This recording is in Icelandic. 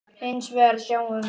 Hins vegar sjáum við